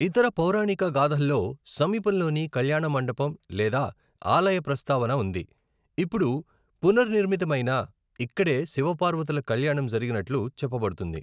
ఇతర పొరణికగాథల్లో సమీపంలోని కళ్యాణమంటపం లేదా ఆలయ ప్రస్తావన ఉంది, ఇప్పుడు పునర్నిర్మితమైనా, ఇక్కడే శివ పార్వతుల కళ్యాణం జరిగినట్లు చెప్పబడుతుంది.